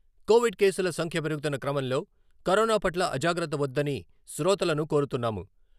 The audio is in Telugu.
కోవిడ్ కేసుల సంఖ్య పెరుగుతున్న క్రమంలో కరోనాపట్ల అజాగ్రత్త వద్దని శ్రోతలను కోరుతున్నాము.